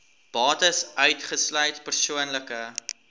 bates uitgesluit persoonlike